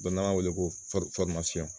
Dɔ na n'a wele ko fɔri fɔrimasiyɔn